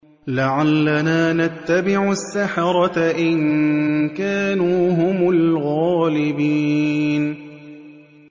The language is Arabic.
لَعَلَّنَا نَتَّبِعُ السَّحَرَةَ إِن كَانُوا هُمُ الْغَالِبِينَ